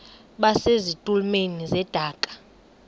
base zitulmeni zedaka